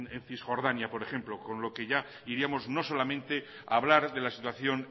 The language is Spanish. en cisjordania por ejemplo con lo que ya iríamos no solamente a hablar de la situación